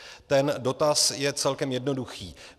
Ten dotaz je celkem jednoduchý.